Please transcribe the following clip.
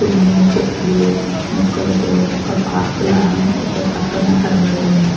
కొన్ని చెట్లు మొక్కలతో ఒక పార్కు ల ఒక పక్కన కనబడుతోంది.